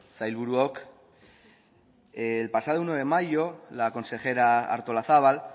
sailburuok el pasado uno de mayo la consejera artolazabal